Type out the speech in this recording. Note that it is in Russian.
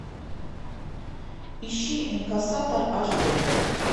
ищи инкассатор аш дэ